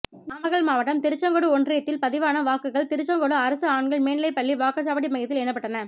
நாமக்கல் மாவட்டம் திருச்செங்கோடு ஒன்றியத்தில் பதிவான வாக்குகள் திருச்செங்கோடு அரசு ஆண்கள் மேல்நிலைப் பள்ளி வாக்குச்சாவடி மையத்தில் எண்ணப்பட்டன